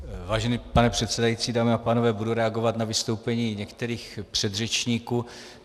Vážený pane předsedající, dámy a pánové, budu reagovat na vystoupení některých předřečníků.